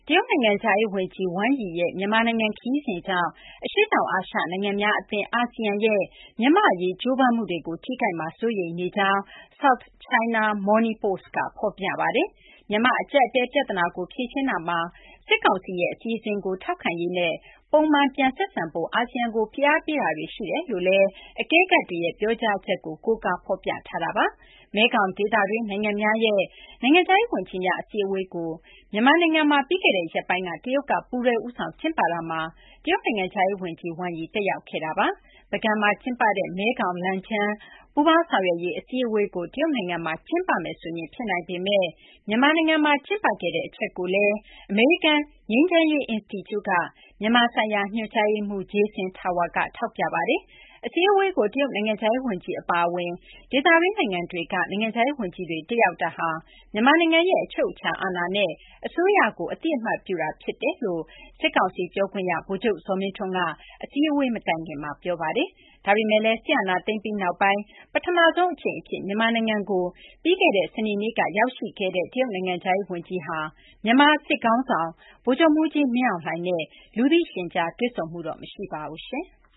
တရုတ် နိုင်ငံခြားရေး ဝန်ကြီး Wang Yi ရဲ့ မြန်မာနိုင်ငံ ခရီးစဉ်ကြောင့် အရှေ့တောင် အာရှ နိုင်ငံများ အသင်း အာဆီယံရဲ့ မြန်မာ့အရေး ကြိုးပမ်းမှုတွေကို ထိခိုက်မှာ စိုးရိမ်နေကြောင်း South China Morning Post က ဖော်ပြပါတယ်။ မြန်မာ့အကျပ်အတည်းပြသနာကို ဖြေရှင်းရာမှာ စစ်ကောင်စီရဲ့ အစီအစဉ်ကို ထောက်ခံရေးနဲ့ ပုံမှန်ပြန်ဆက်ဆံဖို့ အာဆီယံကို ဖိအားပေးတာတွေ ရှိတယ်လို့လည်း အကဲခတ်တွေရဲ့ ပြောကြားချက်ကို ကိုးကားဖော်ပြထားတာပါ။ မဲခေါင်ဒေသတွင်း နိုင်ငံများရဲ့ နိုင်ငံခြားရေး ဝန်ကြီးများ အစည်းအဝေးကို မြန်မာနိုင်ငံမှာ ပြီးခဲ့တဲ့ ရက်ပိုင်းက တရုတ်က ပူးတွဲ ဦးဆောင် ကျင်းပခဲ့တာမှာ တရုတ် နိုင်ငံခြားရေး ဝန်ကြီး Wang Yi တက်ရောက်ခဲ့တာပါ။ ပုဂံမှာ ကျင်းပတဲ့ မဲခေါင်-လန်ချန်း ပူးပေါင်းဆောင်ရွက်ရေးအစည်းအဝေးကို တရုတ်နိုင်ငံမှာ ကျင်းပမယ်ဆိုရင် ဖြစ်နိုင်ပေမဲ့ မြန်မာနိုင်ငံမှာ ကျင်းပခဲ့တဲ့ အချက်ကိုလည်း အမေရိကန် ငြိမ်းချမ်းရေး အင်စတီကျူက မြန်မာဆိုင်ရာ ညွှန်ကြားရေးမှူး Jason Tower က ထောက်ပြထားပါတယ်။ အစည်းအဝေးကို တရုတ်နိုင်ငံခြားရေးဝန်ကြီး အပါအဝင် ဒေသတွင်းနိုင်ငံတွေက နိုင်ငံခြားရေးဝန်ကြီးတွေတက်ရောက် တာဟာ မြန်မာနိုင်ငံရဲ့အချုပ်အခြာအာဏာနဲ့ အစိုးရကိုအသိအမှတ်ပြုတာဖြစ်တယ်လို့ စစ်ကောင်စီပြောခွင့်ရ ဗိုလ်ချုပ် ဇော်မင်းထွန်းက အစည်းအဝေး မတိုင်ခင်မှာ ပြောဆိုထားတာပါ။ ဒါပေမဲ့လည်း စစ်အာဏာသိမ်းပြီး နောက်ပိုင်း ပထမဆုံးအကြိမ်အဖြစ် မြန်မာနိုင်ငံကို ပြီးခဲ့တဲ့ စနေနေ့က ရောက်ရှိလာတဲ့ တရုတ်နိုင်ငံခြားရေးဝန်ကြီးဟာ မြန်မာစစ်ခေါင်းဆောင် ဗိုလ်ချုပ်မှူးကြီး မင်းအောင်လှိုင်နဲ့ လူသိရှင်ကြား တွေ့ဆုံမှုတော့ မရှိပါဘူး။